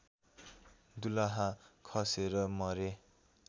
दुलहा खसेर मरे